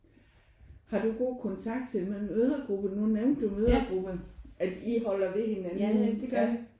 Har du god kontakt simpelthen til mødregruppen nu nævnte du mødregrupper at I holder ved hinanden?